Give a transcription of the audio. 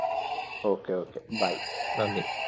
okay, okay, bye, നന്ദി